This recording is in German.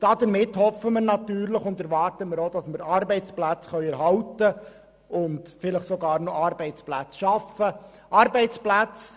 Damit hoffen und erwarten wir, Arbeitsplätze erhalten und vielleicht sogar zusätzliche schaffen zu können.